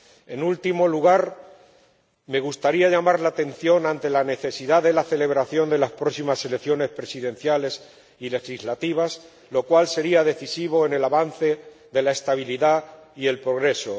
En último lugar, me gustaría llamar la atención ante la necesidad de la celebración de las próximas elecciones presidenciales y legislativas, lo cual sería decisivo en el avance de la estabilidad y el progreso.